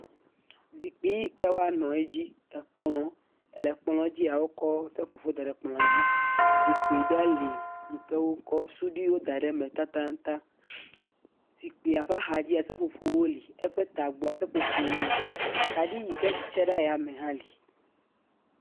Zikpi yi ke woanɔ dzi, ekplɔ̃. Le ekplɔ̃ dzia, wokɔ seƒoƒo da ɖe kplɔ̃a dzi. Zikpi ɖe lee yi ke wokɔ suɖi da ɖe eme taŋtaŋtaŋ. Zikpia ƒe axadzia, seƒoƒowo li. Eƒe tadzi, seƒoƒowo li. Kaɖi yi ke tse ɖe ayame tsɛ li.